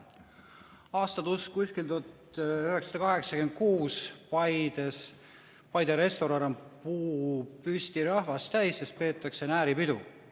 Aasta on 1986, Paide restoran on puupüsti rahvast täis, sest peetakse nääripidu.